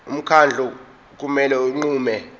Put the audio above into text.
umkhandlu kumele unqume